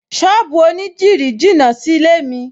Ṣọ́ọ̀bù onídìrí jìnà sílé-è mi